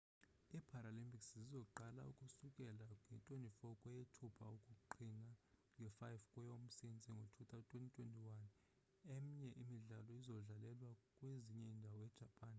ii-paralympics zizoqala ukusukela nge-24 kweyethupha ukuqhina nge-5 kweyomsintsi ngo-2021 emnye imidlalo izodlalelwa kwezinye iindawo e-japan